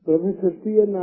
this is cnर